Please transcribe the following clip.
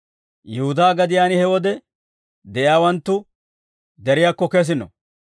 «Yihudaa gadiyaan he wode de'iyaawanttu deriyaakko kesino.